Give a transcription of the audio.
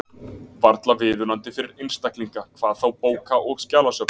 Varla viðunandi fyrir einstaklinga, hvað þá bóka- og skjalasöfn.